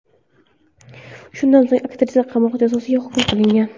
Shundan so‘ng aktrisa qamoq jazosiga hukm qilingan.